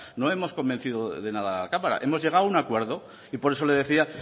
no hemos convencido de nada a la cámara hemos llegado a un acuerdo y por eso le decía